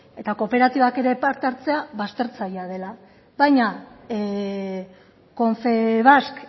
eta kooperatibak ere parte hartzea baztertzailea dela baina confebask